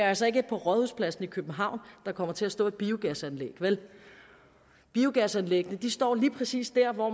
altså ikke på rådhuspladsen i københavn der kommer til at stå et biogasanlæg vel biogasanlæg står lige præcis der hvor